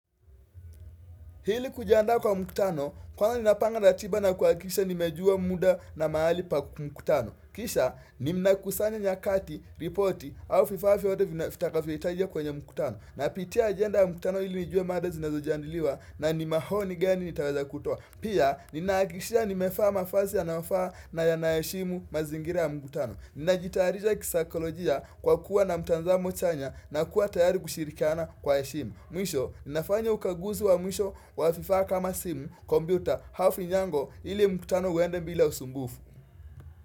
Ili kujandaa kwa mkutano, kwanza napanga ratiba na kuhakikisha nimejua muda na mahali pa mkutano. Kisha, ninakusanya nyakati, ripoti, au vifaa vyote vitakavyohitajika kwenye mkutano. Napitia ajenda ya mkutano ili nijue mada zinazojandiliwa na ni maoni gani nitaweza kutoa. Pia, ninahaakikishia nimevaa mavazi yanayofaa na yanayashimu mazingira ya mkutano. Ninajitayarisha kisaikolojia kwa kuwa na mtazamo chanya na kuwa tayari kushirikiana kwa heshima. Mwisho, nafanya ukaguzi wa mwisho, wa vifaa kama simu, kompyuta, hafinyango, ili mkutano uende bila usumbufu.